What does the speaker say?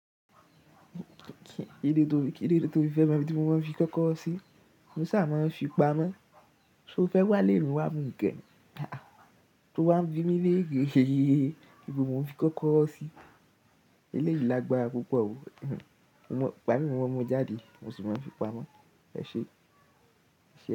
Kí ló dé tó fi fẹ́ mọ ibi tí mo máa ń fi kọ́kọ́rọ́ sí? Mo sa máa ń fi pamọ́. Ṣé o fẹ́ wá ilé mi wá mu gẹ́? To wá ń bi mí leeré, ibo mo ń fi kọ́kọ́rọ́ sí. Eléyìí lágbára púpọ̀ o. Ìgbà mí mo maan mú jáde, mo sì máa ń fi pamọ́. Ẹ ṣé.